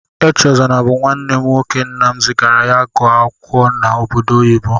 Echezona bú nwanne m nwoke, nnam zigara ya ịgụ akwụkwọ n'obodo oyibo.